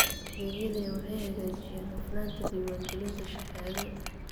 Adeegyadani waxay hagaajiyaan hufnaanta diiwaangelinta shahaado.